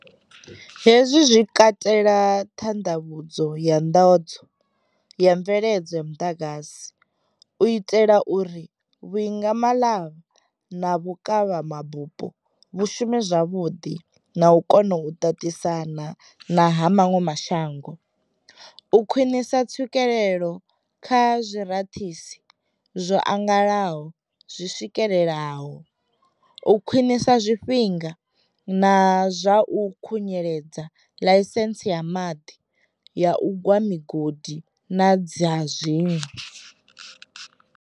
Hezwi zwi katela ṱhanḓavhudzo ya nḓadzo ya mveledzo ya muḓagasi, u itela uri vhuimangalavha na vhukavhamabupo vhu shume zwavhuḓi na u kona u ṱaṱisana na ha maṅwe mashango, u khwiṋisa tswikelelo kha zwirathisi zwo angalalaho zwi swikeleleaho, u khwiṋisa zwifhinga zwa u khunyeledza ḽaisentsi ya maḓi, ya u gwa migodi na dza zwiṅwe.